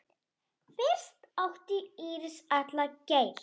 Fyrir átti Íris Atla Geir.